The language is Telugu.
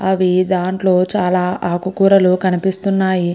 అవి దాంట్లో చాలా ఆకు కూరలు కనిపిస్తున్నాయి.